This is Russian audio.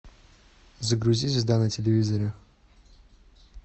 загрузи звезда на телевизоре